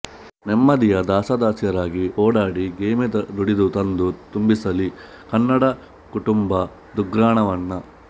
ನೆಮ್ಮದಿಯ ದಾಸದಾಸಿಯರಾಗಿ ಓಡಾಡಿ ಗೆಯ್ಮೆ ದುಡಿದು ತಂದು ತುಂಬಿಸಲಿ ಕನ್ನಡ ಕುಟುಂಬದುಗ್ರಾಣವನ್ನ